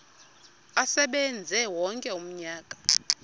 asebenze wonke umnyaka